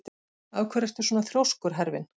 Af hverju ertu svona þrjóskur, Hervin?